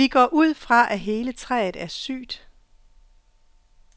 Vi går ud fra, at hele træet er sygt.